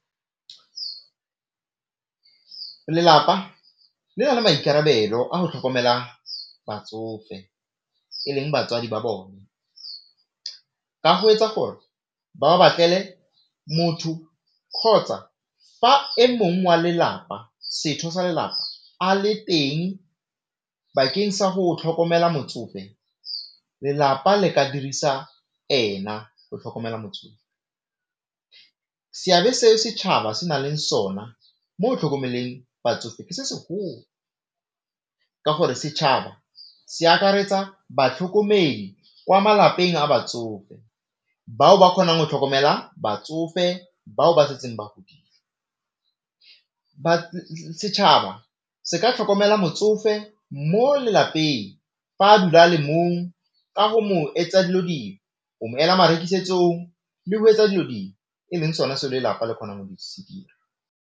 Lelapa le na le maikarabelo a go tlhokomela batsofe e leng batswadi ba bone ka go etsa gore ba ba batlele motho kgotsa fa e mongwe wa lelapa sa lelapa a le teng bakeng sa go tlhokomela motsofe, lelapa le ka dirisa ena go tlhokomela motsofe. Seabe seo setšhaba se na leng sona mo go tlhokomeleng batsofe ke se segolo, ka gore setšhaba se akaretsa batlhokomedi kwa malapeng a batsofe bao ba kgonang go tlhokomela batsofe, bao ba setseng ba godile setšhaba se ka tlhokomela motsofe mo lelapeng fa a dula a le mong ka go mo etsa dilo dingwe, go mo ela marekisetsong le go etsa dilo dingwe e leng sona seo lelapa le kgonang go se dira.